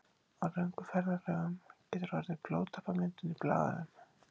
Á löngum ferðalögum getur orðið blóðtappamyndun í bláæðum.